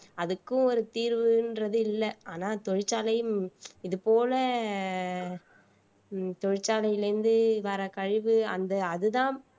அதுக்கும் ஒரு தீர்வுன்றது இல்ல ஆனா தொழிற்சாலையும் இது போல தொழிற்சாலையில இருந்து வர கழிவு அந்த அதுதான்